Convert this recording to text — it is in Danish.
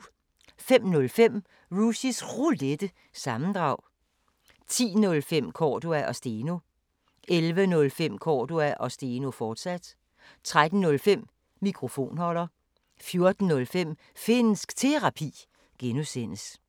05:05: Rushys Roulette – sammendrag 10:05: Cordua & Steno 11:05: Cordua & Steno, fortsat 13:05: Mikrofonholder 14:05: Finnsk Terapi (G)